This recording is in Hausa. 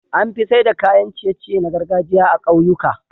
Anfi saida kayan ciye ciye na gargajiya a kyauyika